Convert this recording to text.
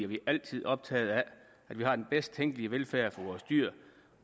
vi altid optaget af at vi har den bedst tænkelige velfærd for vores dyr